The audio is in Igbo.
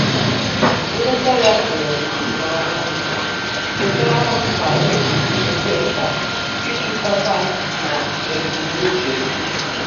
Nleta ya tụrụ m n'anya chetaara m ka-osi di oke mkpa ijikọta na ebumnuche m.